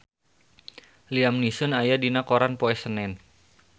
Liam Neeson aya dina koran poe Senen